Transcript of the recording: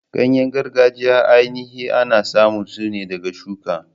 Ganye gargajiya ainihi ana samun su ne ɗaga shuka.